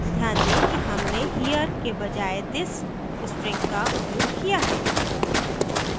ध्यान दें कि हमने here के बजाय this string का उपयोग किया है